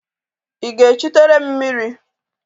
Ị ga-echụtere m mmiri?